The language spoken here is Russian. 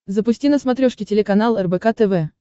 запусти на смотрешке телеканал рбк тв